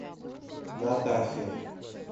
натахе